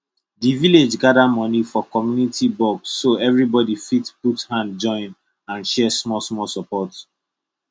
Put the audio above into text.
the village gather money for community box so everybody fit put hand join and share smallsmall support